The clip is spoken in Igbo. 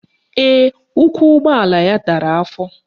Ee, ụkwụ ụgbọala ya dara afọ